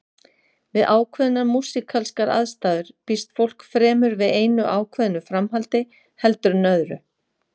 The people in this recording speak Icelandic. Við ákveðnar músíkalskar aðstæður býst fólk fremur við einu ákveðnu framhaldi heldur en öðru.